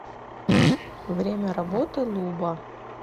время работы луба